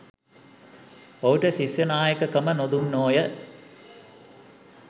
ඔහුට ශිෂ්‍යනායකකම නොදුන්නෝ ය